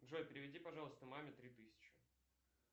джой переведи пожалуйста маме три тысячи